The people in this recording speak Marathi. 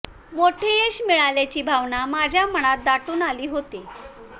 मोठं यश मिळाल्याची भावना माझ्या मनात दाटून आली होती